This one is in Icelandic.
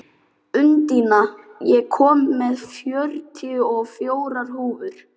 Úndína, ég kom með fjörutíu og fjórar húfur!